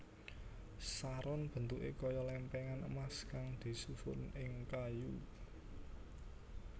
Saron bentuké kaya lèmpèngan emas kang disusun ing kayu